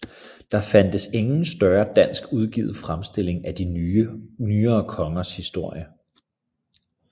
Der fandtes ingen større dansk udgivet fremstilling af de nyere kongers historie